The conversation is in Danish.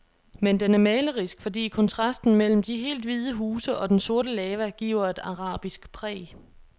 Men den er malerisk, fordi kontrasten mellem de helt hvide huse og den sorte lava giver et arabisk præg.